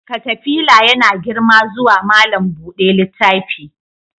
Katafila yana girma zuwa malam buɗe littafi.